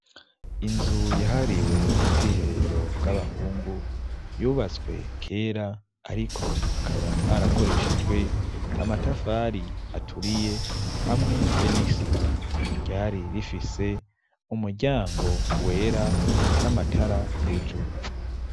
Inzu yahariwe ubwiherero bw'abahungu yubatswe kera, ariko hakaba harakoreshejwe amatafari aturiye hamwe be nisima ryahari rifise umuryango wera n'amatara hejuru.